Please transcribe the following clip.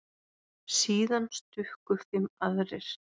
Síðan stukku fimm aðrir.